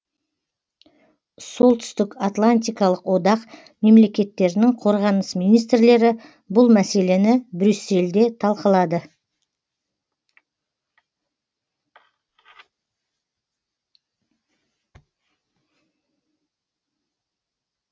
солтүстікатлантикалық одақ мемлекеттерінің қорғаныс министрлері бұл мәселені брюссельде талқылады